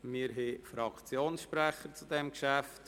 Es gibt Fraktionssprecher zu diesem Geschäft.